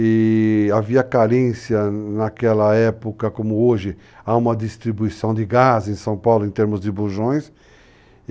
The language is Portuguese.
E havia carência naquela época, como hoje, a uma distribuição de gás em São Paulo, em termos de bujões.